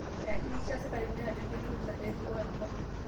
Eihakikisha sikarini ajo keitunza neripo enkop